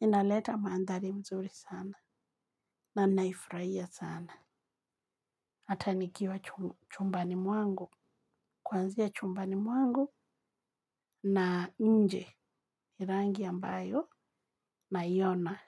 Inaleta mandhari mzuri sana. Na ninaifurahia sana. Hata nikiwa chumbani mwangu. Kwanzia chumbani mwangu na nje ni rangi ambayo naiona.